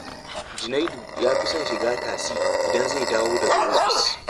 Junaidu ya fi son shiga tasi idan zai dawo daga ofis